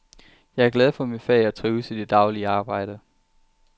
Jeg er glad for mit fag og trives i det daglige arbejde.